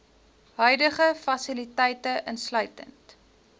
huidige fasiliteite insluitend